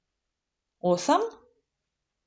Osem?